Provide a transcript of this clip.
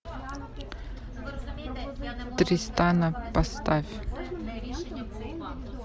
тристана поставь